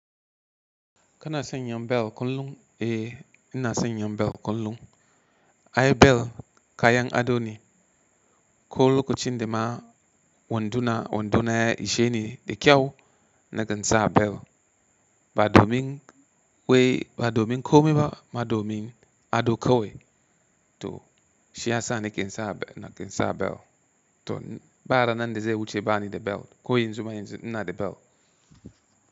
Kana sanya bel kullum e ina sanya bel kullum. Aye bel kayan ado ni. Kullu kolochinde ma wandoona wandoona ya isheeni de kyau nakan saa bel. Ba domin wai ba domin komai ba ama domin ado kawai to shiyasa nake sa, nakan sa bel to ba ranan de ze wuche ba ni de bel ko yan zuma yanzu inna de bel.